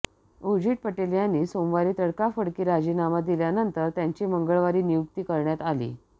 उर्जित पटेल यांनी सोमवारी तडकाफडकी राजीनामा दिल्यानंतर त्यांची मंगळवारी नियुक्ती करण्यात आली